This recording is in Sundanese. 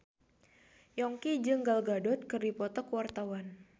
Yongki jeung Gal Gadot keur dipoto ku wartawan